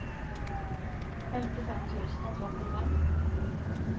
femtifem tusen og trettifem